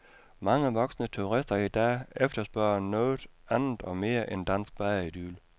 Mange voksne turister i dag efterspørger noget andet og mere end dansk badeidyl.